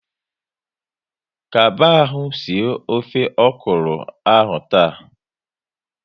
Kaba ahụ sie ofe okuro ahụ taa!